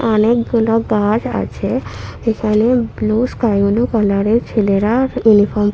অনেকগুলো গাছ আছে এখানে ব্লুর স্কাই ব্লু কালার -এর ছেলেরা ইউনিফর্ম --